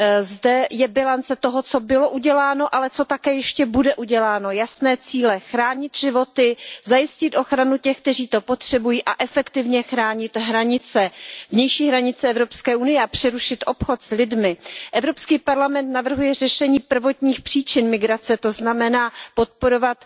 Zde je bilance toho, co bylo uděláno, ale co také ještě bude uděláno, jasné cíle chránit životy, zajistit ochranu těch, kteří to potřebují, efektivně chránit vnější hranice Evropské unie a přerušit obchod s lidmi. Evropský parlament navrhuje řešení prvotních příčin migrace, to znamená podporovat